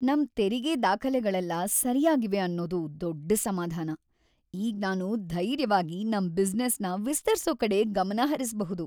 ನಮ್ ತೆರಿಗೆ ದಾಖಲೆಗಳೆಲ್ಲ ಸರ್ಯಾಗಿವೆ ಅನ್ನೋದು ದೊಡ್ಡ್‌ ಸಮಾಧಾನ. ಈಗ್ ನಾನು ಧೈರ್ಯವಾಗಿ ನಮ್‌ ಬಿಸ್ನೆಸ್‌ನ ವಿಸ್ತರ್ಸೋ ಕಡೆ ಗಮನಹರಿಸ್ಬಹುದು.